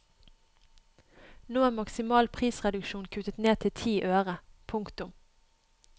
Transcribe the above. Nå er maksimal prisreduksjon kuttet ned til ti øre. punktum